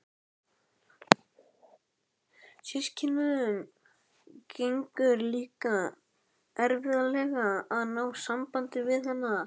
Systkinunum gengur líka erfiðlega að ná sambandi við hana.